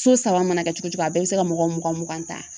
So saba mana kɛ cogo cogo a bɛɛ bɛ se ka mɔgɔ mugan mugan ta.